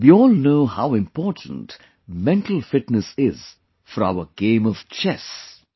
We all know how important mental fitness is for our game of 'Chess'